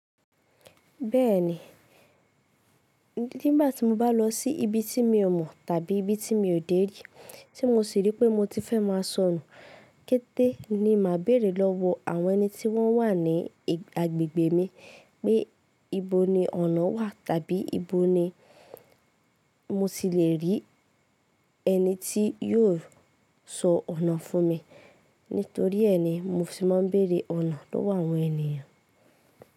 Bẹ́ẹ̀ni, nígbà tí mo bá lọ sí ibi tí mi ò mọ̀ tàbí ibi tí mi ò dé rí, tí mo sì rí pé mo ti fẹ́ máa sọonu, kété ni màá bèrè lọ́wọ́ àwọn ẹni tí wọ́n wà ní agbègbè mi pé ibo ni ọ̀nà wà tàbí ibo ni mo ti le rí ẹni tí yóò sọ ọ̀nà fún mi. Nítorí ẹni, mo sì máa ń bèrè ọ̀nà lọ́wọ́ àwọn ènìyàn.